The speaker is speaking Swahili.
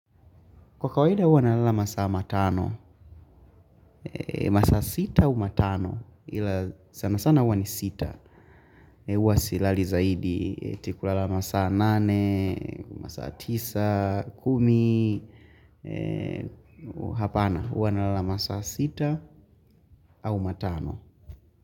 Kwa kawaida huwa nalala masaa matano, masaa sita au matano, ila sana sana huwa ni sita, huwa silali zaidi, eti kulala masaa nane, masaa tisa, kumi, hapana, huwa nalala masaa sita au matano.